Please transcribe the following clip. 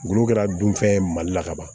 Ngolo kɛra dunfɛn ye mali la ka ban